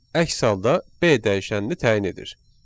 Əks halda B dəyişənini təyin edir.